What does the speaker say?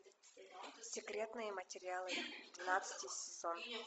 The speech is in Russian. секретные материалы двенадцатый сезон